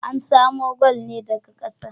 Ana samun gwal ne daka ƙasa